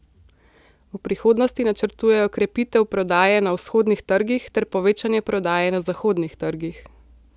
V prihodnosti načrtujejo krepitev prodaje na vzhodnih trgih ter povečanje prodaje na zahodnih trgih.